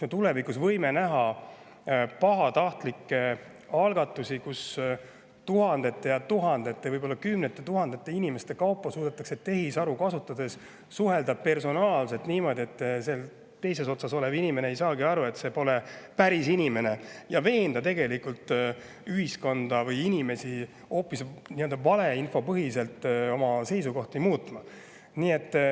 Me tulevikus võime näha pahatahtlikke algatusi, kus tuhandete ja tuhandete, võib-olla kümnete tuhandete inimestega suudetakse tehisharu kasutades suhelda personaalselt ja niimoodi, et teises otsas olev inimene ei saagi aru, et see pole päris inimene, ja veenda inimesi või tegelikult ühiskonda valeinfopõhiselt oma seisukohti muutma.